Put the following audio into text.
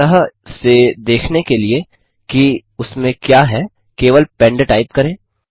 स्पष्टतः से देखने के लिए कि उसमें क्या है केवल पेंड टाइप करें